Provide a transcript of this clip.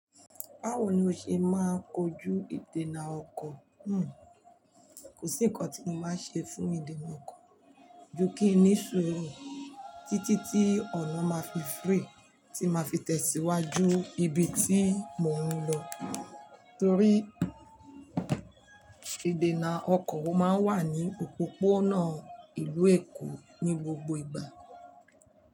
Báwo ni o ṣe máa ń kojú ìdènà ọkọ̀? Kò sí ǹkan tí mo máa ń ṣe fún ìdènà ọkọ̀, ju kí n ní sùúrù títí tí ọ̀nà máa fi free, tí màá fi tẹ̀síwájú ibi tí mò ń lọ. Nítorí ìdènà ọkọ̀ máa ń wà ní òpópónà ìlú Èkó ní gbogbo ìgbà.